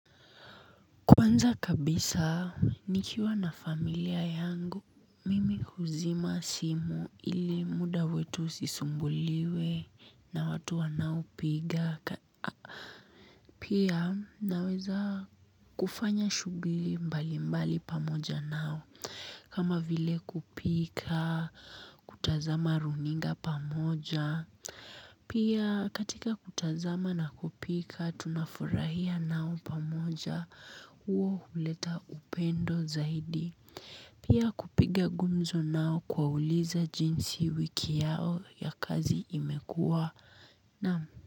Kwanza kabisa, nikiwa na familia yangu, mimi huzima simu ili muda wetu usisumbuliwe na watu wanaopiga. Pia naweza kufanya shughli mbali mbali pamoja nao, kama vile kupika, kutazama runinga pamoja. Pia katika kutazama na kupika tunafurahia nao pamoja huo huleta upendo zaidi. Pia kupiga gumzo nao kuwauliza jinsi wiki yao ya kazi imekua naam.